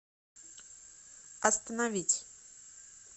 остановить